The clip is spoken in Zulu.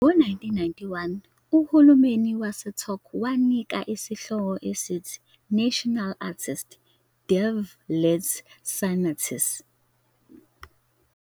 Ngo-1991, uhulumeni waseTurkey wamnika isihloko esithi "National Artist", "Devlet Sanatçısı".